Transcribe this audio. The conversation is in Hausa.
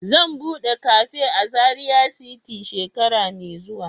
Zan bude cafe a Zaria city shekara mai zuwa.